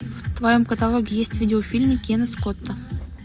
в твоем каталоге есть видеофильмы кена скотта